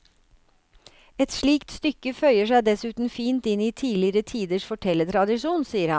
Et slikt stykke føyer seg dessuten fint inn i tidligere tiders fortellertradisjon, sier han.